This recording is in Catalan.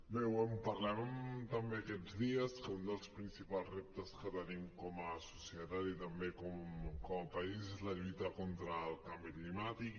bé ho parlàvem també aquests dies que un dels principals reptes que tenim com a societat i també com a país és la lluita contra el canvi climàtic